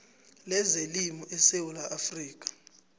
lezelimo esewula afrika